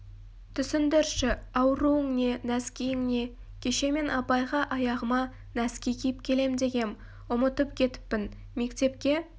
түсіндірші ауруың не нәскиің не кеше мен апайға аяғыма нәски киіп келем дегем ұмытып кетіппін мектепке